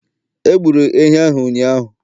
Egburu ehi ahụ ụnyahụ